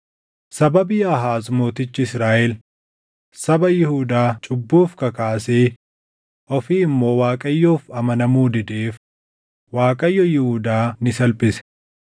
Sababii Aahaaz mootichi Israaʼel saba Yihuudaa cubbuuf kakaasee ofii immoo Waaqayyoof amanamuu dideef Waaqayyo Yihuudaa ni salphise.